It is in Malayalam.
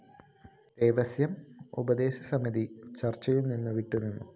ദേവസ്വം ഉപദേശകസമിതി ചര്‍ച്ചയില്‍ നിന്ന് വിട്ടുനിന്നു